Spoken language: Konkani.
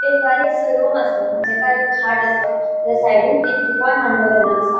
एक बारीकसो रूम असा जेका एक खाट असा त्याज्या सायडीन एक टीपॉय मांडलो गेलो असा.